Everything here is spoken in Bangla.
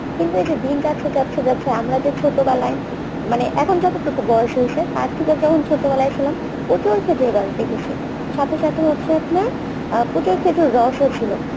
কিন্তু এই যে দিন যাচ্ছে যাচ্ছে যাচ্ছে আমরা যে ছোটবেলায় মানে এখন যতটুকু বয়স হয়েছে তারথেকে যখন ছোটবেলায় ছিলাম প্রচুর খেজুর গাছ দেখেছি সাথে সাথে হচ্ছে আপনার প্রচুর খেজুর রসও ছিলো